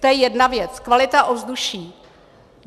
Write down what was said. To je jedna věc - kvalita ovzduší.